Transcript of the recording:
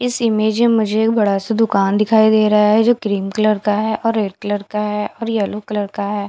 इस इमेज में मुझे एक बड़ा-सा दुकान दिखाई दे रहा है जो क्रीम कलर का है और रेड कलर का है और येलो कलर का है।